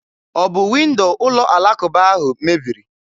Ọ bụ windo ụlọ alakụba ahụ mebiri?